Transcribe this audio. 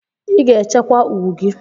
Ị ga-echekwa ugwu gị!